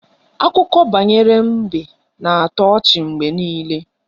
Akụkọ banyere mbe na-atọ ọchị mgbe niile